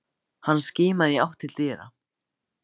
Hann skimaði í átt til dyra.